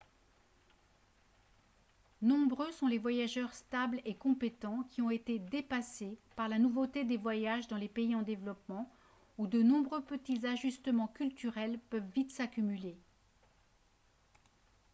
nombreux sont les voyageurs stables et compétents qui ont été dépassés par la nouveauté des voyages dans les pays en développement où de nombreux petits ajustements culturels peuvent vite s'accumuler